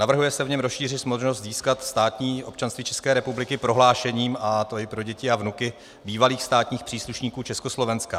Navrhuje se v něm rozšířit možnost získat státní občanství České republiky prohlášením, a to i pro děti a vnuky bývalých státních příslušníků Československa.